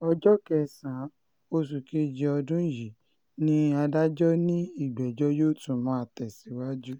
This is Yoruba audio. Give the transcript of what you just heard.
ọjọ́ kẹsàn-án oṣù kejì ọdún yìí ni adájọ́ ní ìgbẹ́jọ́ yóò tún máa tẹ̀síwájú